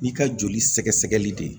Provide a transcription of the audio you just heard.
N'i ka joli sɛgɛsɛgɛli de